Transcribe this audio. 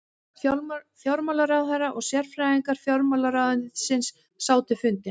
Fjármálaráðherra og sérfræðingar fjármálaráðuneytisins sátu fundinn